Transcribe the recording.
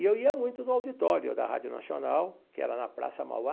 E eu ia muito no auditório da Rádio Nacional, que era na Praça Mauá.